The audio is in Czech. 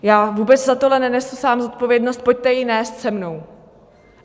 Já vůbec za tohle nenesu sám zodpovědnost, pojďte ji nést se mnou.